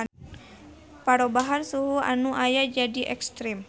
Parobahan suhu anu aya jadi ekstrem.